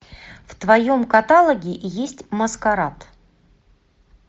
в твоем каталоге есть маскарад